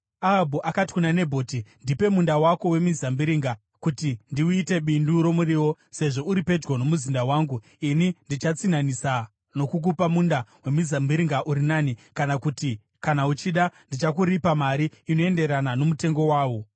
Ahabhu akati kuna Nabhoti, “Ndipe munda wako wemizambiringa kuti ndiuite bindu romuriwo, sezvo uri pedyo nomuzinda wangu. Ini ndichatsinhanhisa nokukupa munda wemizambiringa uri nani, kana kuti, kana uchida, ndichakuripa mari inoenderana nomutengo wawo.”